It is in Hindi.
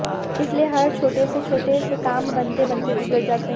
इसलिए हर छोटे से छोटे से काम बनते बनते बिगड़ जाते हैं